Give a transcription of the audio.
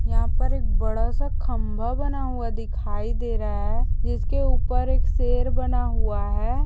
यहाँ पर एक बड़ा सा खंभा बना हुआ दिखाई दे रहा है जिसके ऊपर एक शेर बना हुआ है।